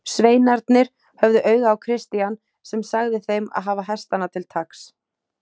Sveinarnir höfðu auga á Christian sem sagði þeim að hafa hestana til taks.